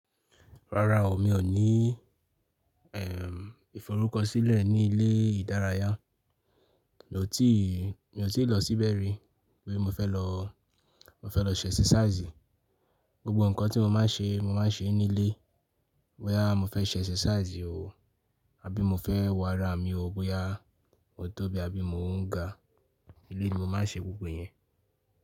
Rárá o, mi ò ní eh iforukọsilẹ ní ilé ìdárayá. Mi ò tí, mi ò tíì lọ síbẹ̀ rí. Gbé mo fẹ́ lọ, mo fẹ́ lọ ṣe exercise. Gbogbo ǹkan tí mo máa ń ṣe, mo máa ń ṣe é nílé. Bóyá mo fẹ́ ṣe exercise o, àbí mo fẹ́ wọ ara mi o, bóyá mo tóbi àbí mo ń ga. Ilé ni mo máa ń ṣe gbogbo yẹn.